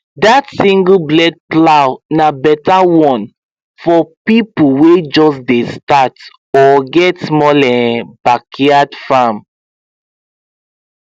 that singleblade plow na better one for people wey just dey start or get small um backyard farm